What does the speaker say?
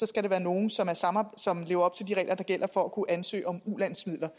skal være nogle som lever op til de regler der gælder for at kunne ansøge om ulandsmidler